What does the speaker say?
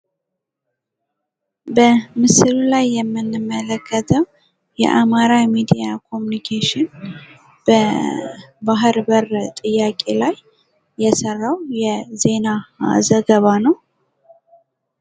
በምስሉ ላይ የምንመለከተው በአማራ ሚዲያ ኮሙኒኬሽን በባህር በር ጥያቄ ላይ የሰራው የዜና ዘገባ ነው።